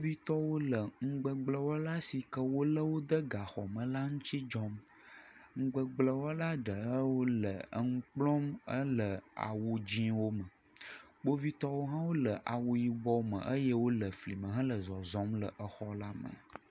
Kpovitɔwo le nugbegblẽwɔla si ke wolé de gaxɔ me la ŋuti dzɔm. Nugbegblẽwɔla ɖe hã wole enu kplɔm, ele awu dzeewo me, kpovitɔwo hã le awu yibɔwo me eye wole fli me hele zɔzɔm le exɔ la me.